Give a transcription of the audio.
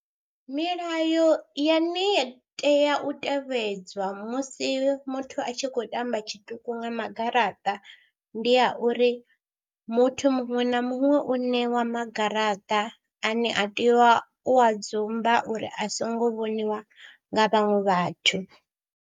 Milayo yane ya tea u tevhedzwa musi muthu a tshi khou tamba tshiṱuku nga magaraṱa, ndi ya uri muthu muṅwe na muṅwe u ṋewa ma garaṱa ane a tea u a dzumba uri a songo vhoniwa nga vhaṅwe vhathu.